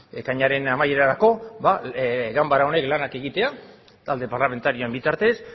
ekainaren amaierarako ba ganbara honek lanak egitea talde parlamentarien bitartez